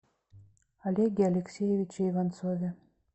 олеге алексеевиче иванцове